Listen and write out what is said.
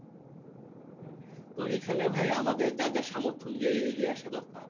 তো এখানে ভাই আমাদের যার যা সামর্থ অনুযায়ী এগিয়ে আসা দরকার